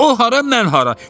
O hara, mən hara?